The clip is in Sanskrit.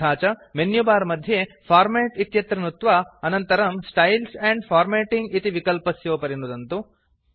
तथा च मेन्युबार मध्ये फॉर्मेट् इत्यत्र नुत्वा अनन्तरम् स्टाइल्स् एण्ड फार्मेटिंग इति विकल्पस्योपरि नुदन्तु